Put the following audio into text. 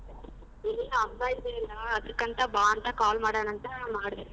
ಏನಿಲ್ಲ ಹಬ್ಬ ಇದಿಯಲ್ಲ ಅದುಕಂತ ಬಾ ಅಂತ call ಮಾಡೋಣಂತ ಮಾಡದೇ.